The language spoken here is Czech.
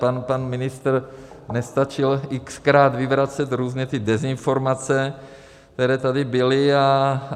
Pan ministr nestačil x-krát vyvracet různé dezinformace, které tady byly.